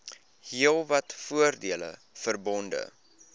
heelwat voordele verbonde